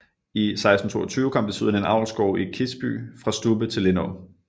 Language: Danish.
I 1622 kom desuden en avlsgård i Kisby fra Stubbe til Lindå